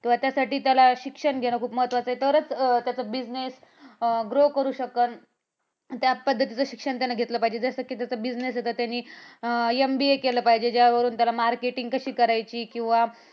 किंवा त्यासाठी त्याला शिक्षण खूप महत्वाचं आहे. तरच त्याचा business grow करू शकल. त्या पद्धतीचे शिक्षण त्याने घेतले पाहिजे. जसं कि ज्याचा business त्यांनी MBA केलं पाहिजे ज्यावरून त्याने marketing कशी करायची किंवा